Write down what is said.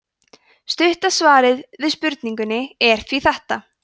stutta svarið við spurningunni er því þetta